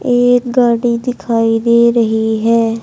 एक गाडी दिखाई दे रही है।